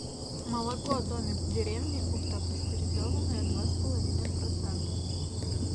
молоко домик в деревне ультрапастеризованное два с половиной процента